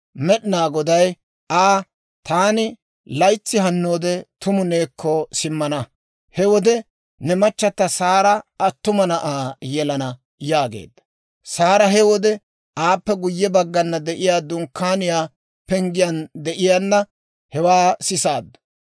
Med'inaa Goday Aa, «Taani laytsi hannoode tumu neekko simmana; he wode ne machata Saara attuma na'aa yelana» yaageedda. Saara he wode aappe guyye baggana de'iyaa dunkkaaniyaa penggiyaan de'iyaana hewaa sisaaddu.